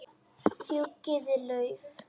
Fjúkiði lauf.